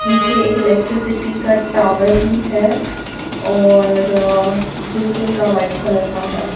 पीछे एक इलेक्ट्रिसिटी का टावर भी है और गेट इनका व्हाइट कलर का है।